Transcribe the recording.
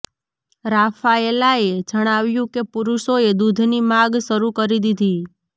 રાફાએલાએ જણાવ્યું કે પુરુષોએ દૂધની માગ શરૂ કરી દીધી